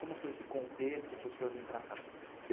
Como foi esse contexto para o senhor vir para cá?